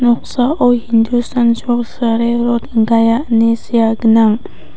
noksao hindustan chok sarai rot gaia ine sea gnang.